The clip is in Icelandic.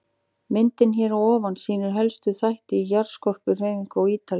Myndin hér að ofan sýnir helstu þætti í jarðskorpuhreyfingum á Ítalíu.